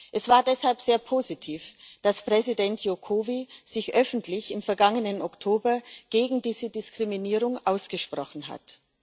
Es war deshalb sehr positiv, dass Präsident Joko Widodo sich im vergangenen Oktober öffentlich gegen diese Diskriminierung ausgesprochen hat.